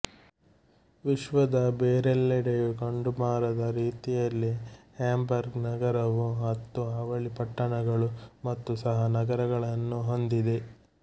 ವಿಶ್ವದ ಬೇರೆಲ್ಲೆಡೆಯೂ ಕಂಡುಬರದ ರೀತಿಯಲ್ಲಿ ಹ್ಯಾಂಬರ್ಗ್ ನಗರವು ಹತ್ತು ಅವಳಿ ಪಟ್ಟಣಗಳು ಮತ್ತು ಸಹ ನಗರಗಳನ್ನು ಹೊಂದಿದೆ